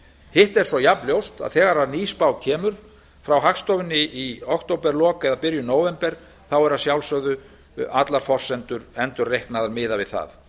hitt er svo jafnljóst að þegar ný spá kemur frá hagstofunni í októberlok eða byrjun nóvember eru að sjálfsögðu allar forsendur endurreiknaðar miðað við það